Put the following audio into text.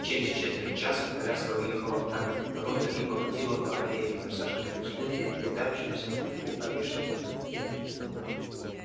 через четверть часа коляска въехала в каменные ворота и покатила по аллее обсаженной густым переплетающимся наверху орешником